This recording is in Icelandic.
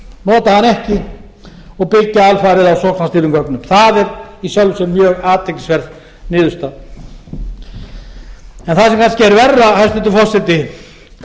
hana ekki og byggja alfarið á sóknarstýrðum gögnum það er í sjálfu sér mjög athyglisverð niðurstaða en það sem er hér verra hæstvirtur forseti